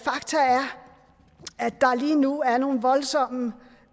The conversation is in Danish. der lige nu er nogle voldsomme